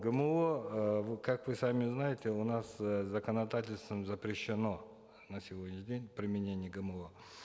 гмо э как вы сами знаете у нас э законодательством запрещено на сегодняшний день применение гмо